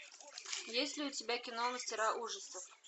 есть ли у тебя кино мастера ужасов